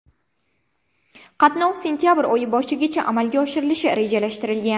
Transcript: Qatnov sentabr oyi boshigacha amalga oshirilishi rejalashtirilgan.